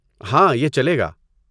ہاں، یہ چلے گا۔